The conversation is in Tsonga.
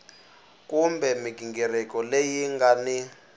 kumbe mighingiriko leyi nga ni